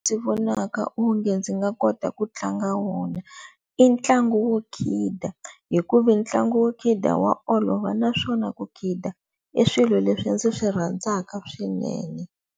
Ndzi vonaka onge ndzi nga kota ku tlanga wona i ntlangu wo khida hikuva ntlangu wo khida wa olova naswona ku khida i swilo leswi ndzi swi rhandzaka swinene.